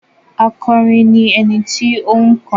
Akọrin ni ẹni tó ń kọrin.